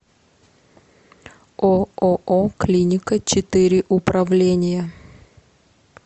ооо клиника четыре управления